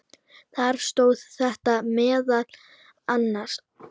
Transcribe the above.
Þar stóð þetta meðal annars